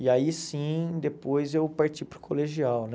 E aí sim, depois eu parti para o colegial, né?